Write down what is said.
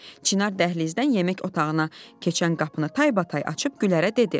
Çinar dəhlizdən yemək otağına keçən qapını taybatay açıb Güllərə dedi: